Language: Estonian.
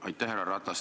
Härra Ratas!